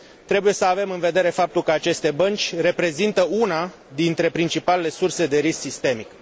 Trebuie să avem în vedere faptul că aceste bănci reprezintă una dintre principalele surse de risc sistemic.